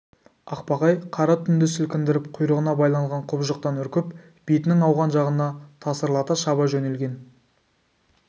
ақбақай қара түнді сілкіндіріп құйрығына байланған құбыжықтан үркіп бетінің ауған жағына тасырлата шаба жөнелген